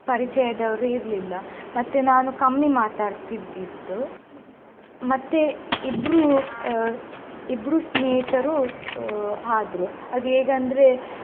ಪರಿಚಯದವರು ಇರಲಿಲ್ಲ ಮತ್ತೆ ನಾನು ಕಮ್ಮಿ ಮಾತಡ್ತಿದ್ದಿದ್ದು ಮತ್ತೆ ಇಬ್ರೂ ಅಹ್ ಇಬ್ರೂ ಸ್ನೇಹಿತರು ಅಹ್ ಆದ್ರೂ ಆದ್ಹೇಗ್ ಅಂದ್ರೆ.